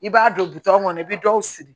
I b'a don bitɔn kɔnɔ i bi dɔw sigi